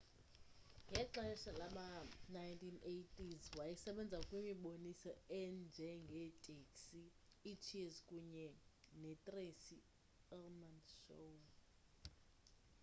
ngexesha lama-1980s wayesebenza kwimiboniso enje ngeteksi iicheers kunye netracy ullman show